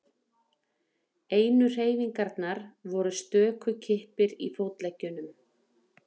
Einu hreyfingarnar voru stöku kippir í fótleggjunum.